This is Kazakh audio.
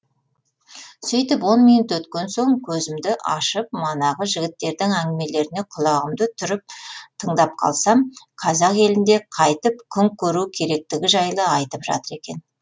сөйтіп он минут өткен соң көзімді ашып манағы жігіттердің әңгімелеріне құлағымды түріп тыңдап қалсам қазақ елінде қайтіп күн көру керектігі жайлы айтып жатыр екен